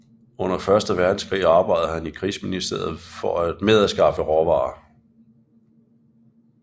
Under Første Verdenskrig arbejdede han i Krigsministeriet med at skaffe råvarer